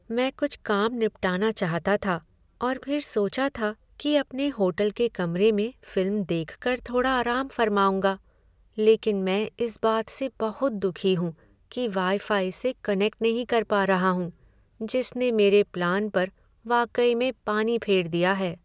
मैं कुछ काम निपटाना चाहता था और फिर सोचा था कि अपने होटल के कमरे में फ़िल्म देखकर थोड़ा आराम फरमाउंगा। लेकिन मैं इस बात से बहुत दुखी हूँ कि वाईफाई से कनेक्ट नहीं कर पा रहा हूँ जिसने मेरे प्लान पर वाकई में पानी फेर दिया है।